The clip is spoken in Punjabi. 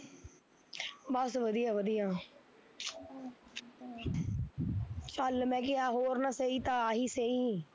ਬਸ ਵਧੀਆ ਵਧੀਆ ਚੱਲ ਮੈਂ ਕਿਹਾ ਹੋਰ ਨਾ ਸਹੀ ਤਾਂ ਆਹੀਂ ਸਹੀ